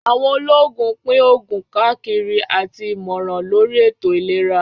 Àwọn olóògùn pín òògùn káàkiri àti ìmọ̀ràn lóri ètò ìlera